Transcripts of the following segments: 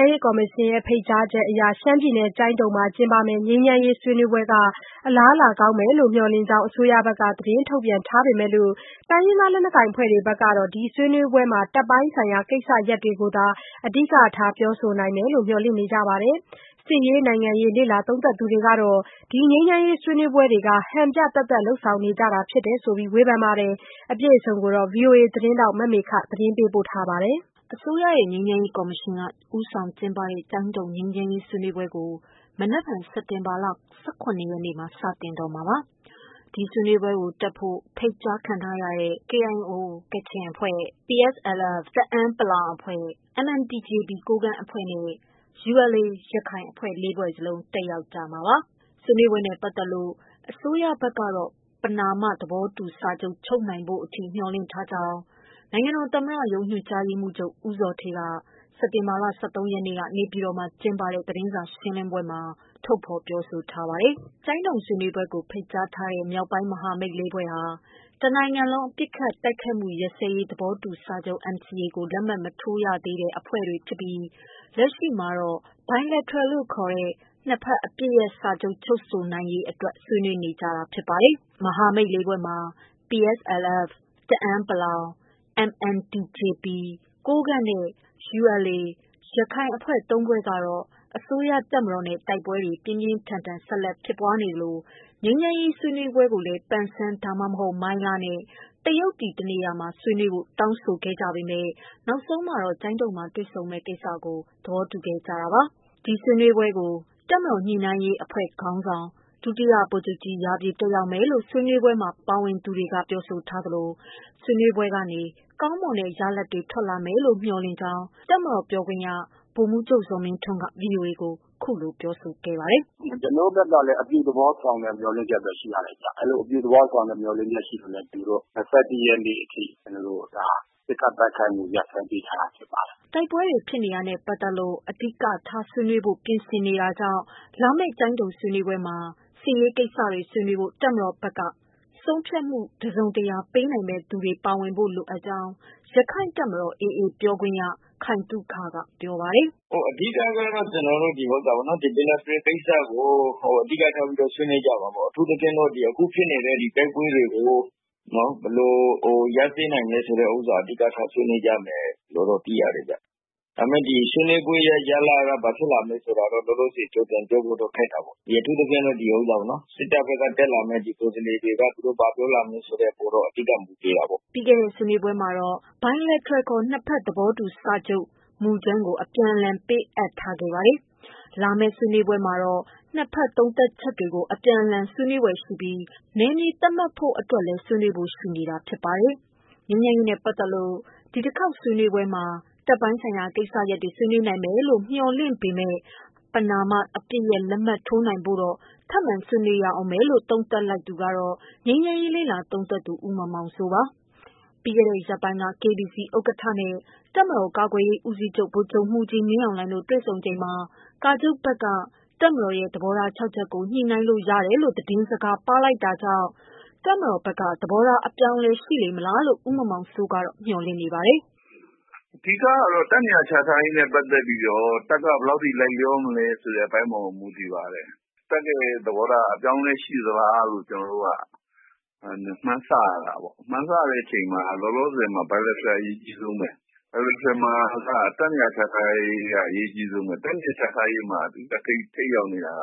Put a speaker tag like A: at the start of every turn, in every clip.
A: မ်းရေးကော်မရှင်ရဲ့ ဖိတ်ကြားချက်အရ ကျိုင်းတုံမှာ ကျင်းပမယ့် ငြိမ်းချမ်းရေး ဆွေးနွေးပွဲက အလားအလာကောင်းမယ်လို့ မျှော်လင့်ကြောင်း အစိုးရဘက်က သတင်းထုတ်ပြန်ထားပေမယ့် တိုင်းရင်းသားအဖွဲ့တွေဘက်ကတော့ ဒီဆွေးနွေးပွဲမှာ တပ်ပိုင်းဆိုင်ရာ ကိစ္စရပ်တွေလောက်သာ အဓိကထားပြောဆိုနိုင်မယ်လို့ မျှော်လင့်နေကြပါတယ်။ စစ်ရေး၊ နိုင်ငံရေး လေ့လာသုံးသပ်သူတွေကတော့ ငြိမ်းချမ်းရေးဆွေးနွေးပွဲတွေက ဟန်ပြသက်သက် လုပ်ဆောင်နေကြတယ်ဆိုတဲ့ ဝေဖန်မှု တွေရှိနေပါတယ်။ အပြည့်အစုံကိုတော့ ဗွီအိုအေ သတင်းထောက်မေခက သတင်းပေးပို့ထားပါတယ်။ အစိုးရရဲ့ ငြိမ်းချမ်းရေးကော်မရှင်က ဦးဆောင် ကျင်းပတဲ့ ကျိုင်းတုံငြိမ်းချမ်းရေး ဆွေးနွေးပွဲကို မနက်ဖြန် စက်တင်ဘာလ ၁၇ရက်နေ့မှာ စတင်တော့မှာပါ။ ဒီ ဆွေးနွေးပွဲကိုတက်ဖို့ ဖိတ်ကြားခံထားရတဲ့ KIO ကချင်၊ PSLF တအန်း ၊ MNTJP ကိုးကန့် နဲ့ ULA ရခိုင် အဖွဲ့ ၄ ဖွဲ့စလုံး တက်ရောက်ကြမှာပါ။ ဆွေးနွေးပွဲနဲ့ပတ်သတ်လို့ အစိုးရဘက်ကတော့ ပဏာမသဘောတုူစာချုပ် ချုပ်နိုင်ဖို့အထိ မျှော်လင့်ထားကြောင်း နိုင်ငံတော်သမ္မတရုံးညွှန်ကြားရေးမှုးချူုပ်ဦးဇော်ဌေးက စက်တင်ဘာလ ၁၃ ရက်နေ့က နေပြည်တော်မှာ ကျင်းပတဲ့ သတင်းစာရှင်းလင်းပွဲအတွင်း ထုတ်ဖော် ပြောဆိုထားပါတယ်။ ကျိုင်းတုံဆွေးနွေးပွဲကို ဖိတ်ကြားထားတဲ့ မြောက်ပိုင်းမဟာမိတ် ၄ဖွဲ့ဟာ တစ်နိုင်ငံလုံးပစ်ခတ် တိုက်ခိုက်မှုရပ်စဲရေး သဘောတူစာချုပ် NCA ကို လက်မှတ်မရေးထိုးသေးတဲ့ အဖွဲ့တွေဖြစ်ပြီး လက်ရှိမှာ Bilateral ခေါ် နှစ်ဘက် အပစ်ရပ်စာချုပ် ချုပ်ဆိုရေးကို ဆွေးနွေးနေတာဖြစ်ပါတယ်။ မဟာမိတ် ၄ဖွဲ့မှာ PSLF တအန်း ၊ MNTJP ကိုးကန့် နဲ့ ULA ရခိုင် အဖွဲ့ ၃ဖွဲ့ကတော့ အစိုးရတပ်မတော်နဲ့ တိုက်ပွဲတွေ ပြင်းပြင်းထန်ထန်ဖြစ်ပွားခဲ့သလို ငြိမ်းချမ်းရေးဆွေးနွေးပွဲကိုလည်း ပန်ဆန်း ဒါမှမဟုတ် မိုင်းလားနဲ့ တရုတ်ပြည် တစ်နေရာရာမှာ ဆွေးနွေးဖို့ တောင်းဆိုခဲ့ပေမယ့် နောက်ပိုင်းမှာ ကျိုးတုံမှာတွေ့ဆုံမယ့်ကိစ္စကို သဘောတူလိုက်ကြပါတယ်။ ဒီဆွေးနွေးပွဲကို တပ်မတော်ညှိနှိုင်းရေးအဖွဲ့ခေါင်းဆောင် ဒုတိယဗိုလ်ချုပ်ကြီး ရာပြည့် တက်ရောက်မယ်လို့ ဆွေးနွေးပွဲမှာ ပါဝင်သူတွေက ပြောဆိုထားသလို၊ ဆွေးနွေးပွဲကနေ ကောင်းမွန်တဲ့ရလဒ်တွေ ထွက်လာလိမ့်မယ်လို့ မျှော်လင့်ကြောင်း တပ်မတော် ပြောခွင့်ရ ဗိုလ်မှူးချုပ်ဇော်မင်းထွန်း က ဗွီအိုအေကို ဒီကနေ့ ပြောပြခဲ့ပါတယ်
B: ။ “ကျနော်တို့ဘက်ကလည်း အပြုသဘောဆောင်တဲ့ မျှော်လင့်ချက်ရှိပါတယ်။ အပြုသဘောမေ ျှာ်လင့်တာကြောင့် အပစ်ရပ်တာကိုတောင် ၂၁ရက်နေ့အထိ ထပ်တိုးပေးထားတာပါ”
A: တိုက်ပွဲတွြေုဖစ်နေတာနဲ့ပတ်သတ်လို့ အဓိကထားဆွေးနွေးဖို့ ပြင်ဆင်ရှိနေတာကြောင့် လာမယ့် ကျိုင်းတုံဆွေးနွေးပွဲမှာ စစ်ရေးကိစ္စတွေ ဆွေးနွေးဖို့ တပ်မတော်ဘက်က ဆုံးဖြတ်မှု ပေးနိုင်သူတွေ ပါဝင်ဖို့လိုကြောင်း ရက္ခိုင့်တပ်မတော် AA ပြောခွင့်ရ ခိုင်သုခက ပြောပါတယ်
B: ။ “အဓိကတော့ Bilateral ကိစ္စဆွေးနွေးမယ်၊ အထူးသဖြင့်တော့အခုဖြစ်နေတဲ့ တိုက်ပွဲတွေ ဘယ်လိုရပ်စဲနိုင်မလဲဆိုတာ အဓိကထားဆွေးနွေးမယ်လို့သိရတယ်။ ဒါပေမယ့် ဒီဆွေးနွေးပဲ ဘယ်လိုရလဒ်ထွက်မလဲတော့ ပြောရခက်တာပေါ့။ အထူးသဖြင့် စစ်တပ်ဘက်က တက်လာတဲ့ တပ်ပိုင်းဆိုင်ရာ ကိုယ်စားလှယ်တွေက သူတို့ဘာပြောလာမလဲဆိုတာ အဓိက မူတည်ပါတယ်
A: ။” ပြီးခဲ့တဲ့ ဆွေးနွေးပွဲတွေမှာတော့ Bilateral ခေါ် နှစ်ဘက်အပစ်ရပ်စာချုပ်မူကြမ်းကို အပြန်အလှန် ပေးအပ်ထားခဲ့တာပါ။ လာမယ့်ဆွေးနွေးပွဲမှာတော့ နှစ်ဘက် သုံးသပ်ချက်တွေကို အပြန်အလှန် ဆွေးနွေးကြပြီး နယ်မြေသတ်မှတ်ဖု့ိအတွက်လည်း ဆွေးနွေးဖို့ ရှိနေတာဖြစ်ပါတယ်။ ငြိမ်းချမ်းရေးနဲ့ ပတ်သတ်လို့ ဒီတခေါက် ဆွေးနွေးပွဲမှာ တပ်ပိုင်းဆိုင်ရာ ကိစ္စရပ်တွေ ဆွေးနွေးနိုင်မယ်လို့ မေ ျှာ်လင့်ပေမယ့် ပမာဏ အပစ်ရပ်လက်မှတ်ထိုးနိုင်ဖို့ကိုတော့ ထပ်မံဆွေးနွေးရဦးမယ်လို့ သုံးသပ်လိုက်သူကတော့ ငြိမ်းချမ်းရေးလေ့လာသုံးသပ်သူ ဦးမောင်မောင်စိုးပါ။ ပြီးခဲ့တဲ့ ရက်ပိုင်းက KBC ဥက္ကဌနဲ့ တပ်မတော်ကာကွယ်ရေးဦးစီးချုပ် ဗိုလ်ချုပ်မှူးကြီး မင်းအောင်လှိုင်တို့တွေ့ချိန်မှာ ကာချုပ်ဘက်က တပ်မတော်ရဲ့ သဘောထား ၆ချက်ကို ညှိနှိုင်းလို့ ရတယ်လို့ သတင်းစကားပါးလိုက်တာ ရှိတာကြောင့် တပ်မတော်ဘက်က သဘောထား အပြောင်းအလဲ ရှိလေမလားလို့ ဦးမောင်မောင်စိုးကတော့ မေ ျှာ်လင့်နေပါတယ်။
B: “အဓိကကတော့ တပ်နေရာချထားရေးနဲ့ပတ်သတ်ပြီး တပ်ဘက်က ဘယ်လောက်အထိ လိုက်လျောမလဲဆိုတာ မူတည်ပါတယ်။ တပ်သဘောထားက အပြောင်းအလဲရှိသလား မှန်းဆရတယ်။ မှန်းဆရချိန်မှာလောလောဆယ်က Bilateral အရေးကြီးတယ်။ Bilateral မှာတပ်နေရာ ချထားရေးက အရေးကြီးဆုံးဘဲ။ တပ်နေရာချထားရေးမှာ ထိပ်ရောက်နေတာက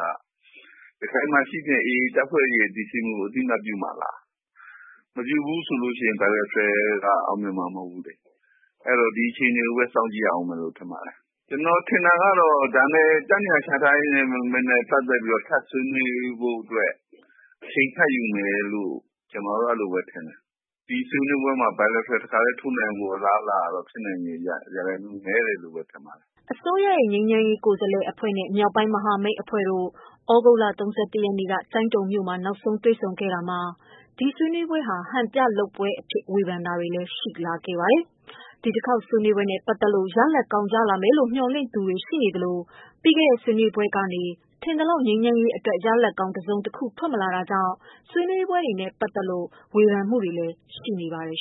B: ရခိုင်မှာရှိတဲ့ AAကို အသိအမှတ် ပြုမှာလား။ မပြုရင် အောင်မြင်မှာ မဟုတ်ဘူးလေ။ အဲဒီတော့ အခြေအနေ စောင့်ကြည့်ရမယ် ထင်တယ်။ ကျနော်ထင်တာကတော့ တပ်နေရာချထားရေးအတွက် ထပ်ပြီး ဆွေးနွေးဖို့အတွက် အချိန်ယူ မယ်ထင်တယ်။ ဒီဆွေးနွေးပွဲမှာBilateral ထိုးနိုင်ဖို့အလားအလာကတော့ ဖြစ်နိုင်ဖို့ ရာခိုင်နှုန်းနည်းနေပါတယ်။
A: ” အစိုးရရဲ့ ငြိမ်းချမ်းရေးကိုယ်စားလှယ်အဖွဲ့နဲ့ မြောက်ပိုင်းမဟာမိတ်အဖွဲ့တို့ သြဂုတ်လ ၃၁ရက်နေ့က ကျိုင်းတုံမြို့မှာ နောက်ဆုံးတွေ့ဆုံခဲ့ကြတာမှာ ဒီဆွေးနွေးပွဲဟာ ဟန်ပြ လုပ်ပွဲအဖြစ် ဝေဖန်တာတွေလည်း ရှိခဲ့ပါတယ်။ ဒီတခေါက်ဆွေးနွေးပွဲနဲ့ ပတ်သတ်လို့ ရလဒ်ကောင်းရလာမယ်လို့ မျှော်လင့်သူတွေ ရှိသလို ပြီးခဲ့တဲ့ ဆွေးနွေးပွဲတွေကနေ ထင်သလောက် ငြိမ်းချမ်းရေးအတွက် ရလဒ်ကောင်း တစုံတခု ထွက်မလာခဲ့တာတွေကြောင့် ဆွေးနွေးပွဲတွေနဲ့ပတ်သတ်လို့ ဝေဖန်မှုတွေလည်းရှိနေပါတယ်